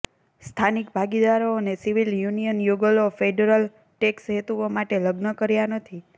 સ્થાનિક ભાગીદારો અને સિવિલ યુનિયન યુગલો ફેડરલ ટેક્સ હેતુઓ માટે લગ્ન કર્યા નથી